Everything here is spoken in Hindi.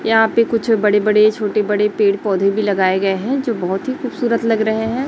यहा पे कुछ बड़े बड़े छोटे बड़े पेड़ पौधे भी लगाए गए हैं जो बहोत ही खूबसूरत लग रहे हैं।